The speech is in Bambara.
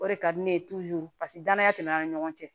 O de ka di ne ye paseke danaya tɛmɛna an ni ɲɔgɔn cɛ